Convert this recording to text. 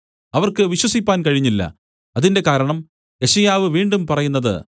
അവർക്ക് വിശ്വസിപ്പാൻ കഴിഞ്ഞില്ല അതിന്റെ കാരണം യെശയ്യാവു വീണ്ടും പറയുന്നത്